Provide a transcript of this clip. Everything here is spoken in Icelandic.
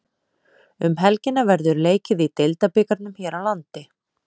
Um helgina verður leikið í Deildabikarnum hér landi.